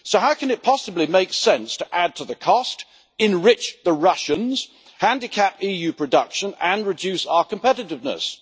So how can it possibly make sense to add to the cost, enrich the Russians, handicap EU production and reduce our competitiveness?